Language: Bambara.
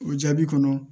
O jaabi kɔnɔ